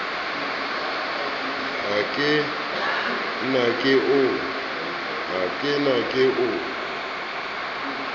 ha ke ne ke o